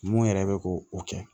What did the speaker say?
Mun yɛrɛ bɛ ko o kɛ